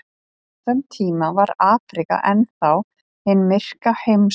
Á þeim tíma var Afríka enn þá hin myrka heimsálfa.